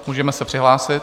Můžeme se přihlásit.